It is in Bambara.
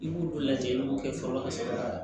I b'olu lajɛ i b'o kɛ fɔlɔ ka sɔrɔ ka